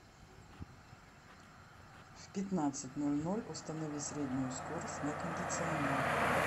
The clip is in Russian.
в пятнадцать ноль ноль установи среднюю скорость на кондиционере